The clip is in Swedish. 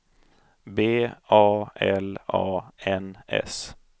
B A L A N S